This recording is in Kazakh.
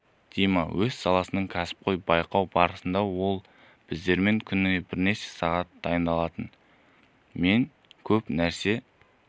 дима өз саласының кәсіпқойы байқау барысында ол біздермен күніне бірнеше сағат бойы дайындалатын мен көп нәрсе